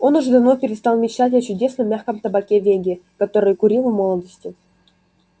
он уже давно перестал мечтать о чудесном мягком табаке веги который курил в молодости